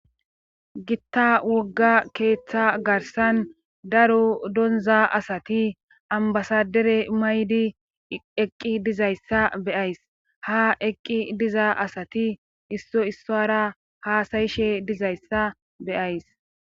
gitta wogga keeththa garsan daro donza asati ambasadere maydi eqqi dizayssa beyays ha eqqi diza asati isso issora haasayishe dizayssa beyays